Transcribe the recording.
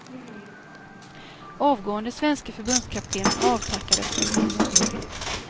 Avgående svenske förbundskaptenen avtackades med blommor.